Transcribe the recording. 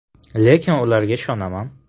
Lekin ularga ishonaman.